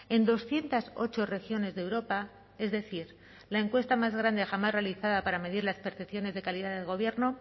en doscientos ocho regiones de europa es decir la encuesta más grande jamás realizada para medir las percepciones de calidad del gobierno